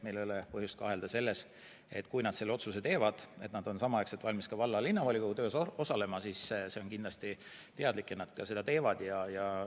Meil ei ole põhjust kahelda, et kui nad selle otsuse teevad, et nad on samaaegselt valmis ka valla- ja linnavolikogu töös osalema, siis see on kindlasti teadlik otsus ja nad seda ka teevad.